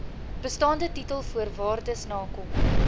bestaande titelvoorwaardes nakom